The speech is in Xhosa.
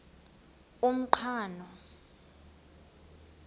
umqhano